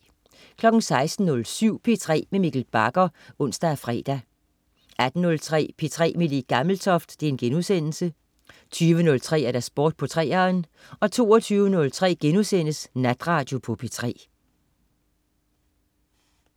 16.07 P3 med Mikkel Bagger (ons og fre) 18.03 P3 med Le Gammeltoft* 20.03 Sport på 3'eren 22.03 Natradio på P3*